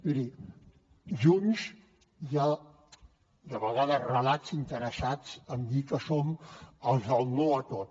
miri junts hi ha de vegades relats interessats en dir que som els del no a tot